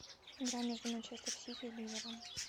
игра между манчестер сити и ливером